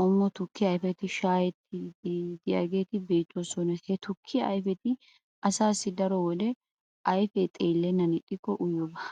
qommo tukkiya ayfetti shaa'ettidaageeti beetoosona. Ha tukkiya ayfeti asaassi daro wode ayfee xeelennan ixxikko uyiyyoba.